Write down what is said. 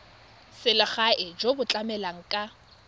selegae jo bo tlamelang ka